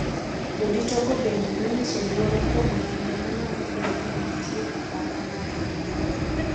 Jodito go bende nonyiso luoro kuom nonro ma nyalo bedo ni nitie apaka mar ang’wen